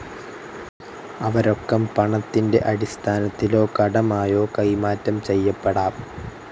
അവ രൊക്കം പണത്തിൻ്റെ അടിസ്ഥാനത്തിലോ കടമായോ കൈമാറ്റം ചെയ്യപ്പെടാം.